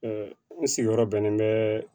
n sigiyɔrɔ bɛnnen bɛ